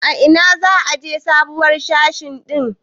A ina za a aje sabuwar mashin din?